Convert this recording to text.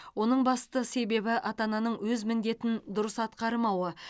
оның басты себебі ата ананың өз міндетін дұрыс атқармауы